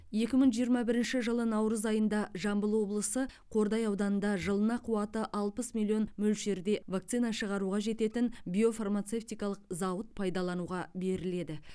екі мың жиырма бірінші жылы наурыз айында жамбыл облысы қордай ауданында жылына қуаты алпыс миллион мөлшерде вакцина шығаруға жететін биофармацевтикалық зауыт пайдалануға беріледі